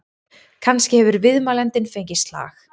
Kannski hefur viðmælandinn fengið slag?